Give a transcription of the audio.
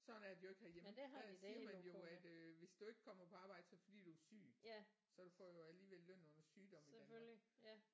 Sådan er det jo ikke herhjemme der siger man jo at øh hvis du ikke kommer på arbejde så er det fordi du er syg så får du jo alligevel løn under sygdom i Danmark